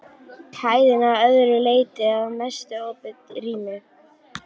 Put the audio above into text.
Hæðin að öðru leyti að mestu opið rými.